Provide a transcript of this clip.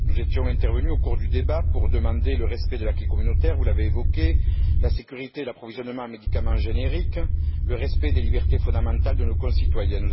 Nous étions intervenus au cours du débat pour demander le respect de l'acquis communautaire vous l'avez évoqué la sécurité et l'approvisionnement en médicaments génériques et le respect des libertés fondamentales de nos concitoyens.